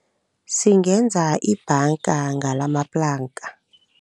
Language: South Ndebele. Singenza ibhanga ngalamaplanka.